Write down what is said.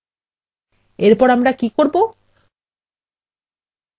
এরপর আমরা কি করবো